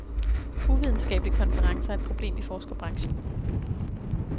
Uvidenskabelige konferencer er et problem i forskerbranchen.